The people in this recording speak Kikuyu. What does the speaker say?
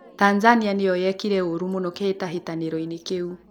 Tanzania nĩyo yekire ũũru mũno kĩhĩtahĩtanĩro inĩ kĩu